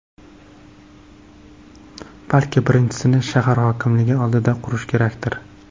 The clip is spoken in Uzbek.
Balki birinchisini shahar hokimligi oldida qurish kerakdir?